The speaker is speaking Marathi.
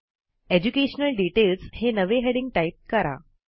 एज्युकेशनल डिटेल्स हे नवे हेडिंग टाईप करा